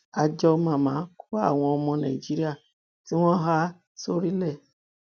àjọ mama kó àwọn ọmọ nàìjíríà tí wọn há sórílẹ